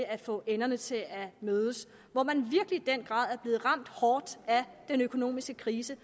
at få enderne til at mødes hvor man i den grad er blevet ramt hårdt af den økonomiske krise